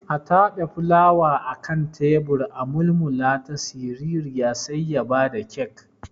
A tabe fulawa akan tebur a mulmulata siririya sai ya bada kek.